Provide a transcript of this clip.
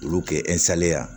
Olu kɛ ya